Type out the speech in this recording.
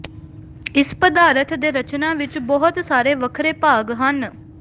ਇਸ ਪਦਾਰਥ ਦੇ ਰਚਨਾ ਵਿਚ ਬਹੁਤ ਸਾਰੇ ਵੱਖਰੇ ਭਾਗ ਹਨ